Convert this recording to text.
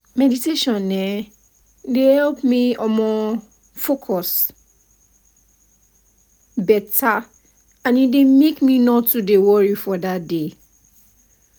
see i prefer to dey meditate for under morning sun e dey boost my mood everyday